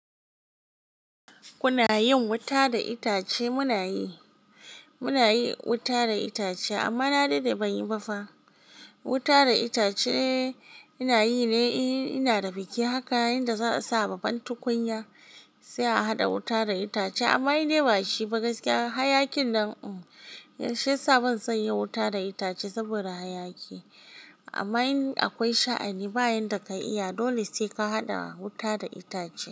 Kuna yin wuta da itace? Muna yi, muna yin wuta da itace amma na daɗe ban yi ba fa. Wuta da itace ina yi ne in ina da biki. Haka yanda za a sa babbar tukunya sai a haɗa wuta da itace amma dai ba shi gaskiya. Hayakin nan shi ya sa ban san yin wuta da itace saboda hayaki. Amma in akwai sha'ani bayan da ka yi, dole sai ka haɗa wuta da itace.